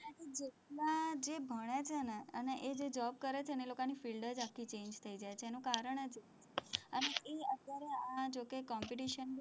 જેટલા જે ભણ્યા છે ને અને એ જે job કરે છે ને એ લોકોની field જ આખી change થઇ જાય છે ને એનું કારણ જ એ, અને એ અત્યારે આ જે કઈ competition છે,